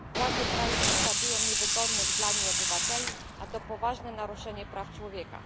Władze kraju prześladują niewygodnych dla nich obywateli, a to poważne naruszenie praw człowieka.